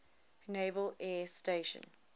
naval air station